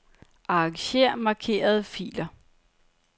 Arranger markerede filer.